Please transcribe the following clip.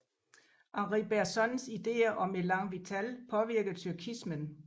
Henri Bergsons idéer om élan vital påvirkede tyrkismen